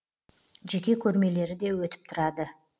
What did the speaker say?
жеке көрмелері де өтіп тұрады